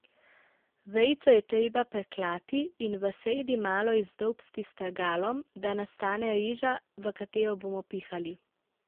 Vejico je treba preklati in v sredi malo izdolbsti s strgalom, da nastane reža, v katero bomo pihali.